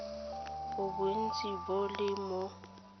bo bontsi bo le mo